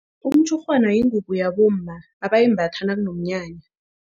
Umtshurhwana yingubo yabomma abayimbatha nakuneminyanya.